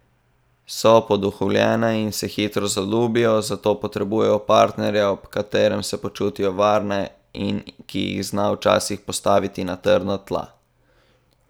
So poduhovljene in se hitro zaljubijo, zato potrebujejo partnerja, ob katerem se počutijo varne in ki jih zna včasih postaviti na trdna tla.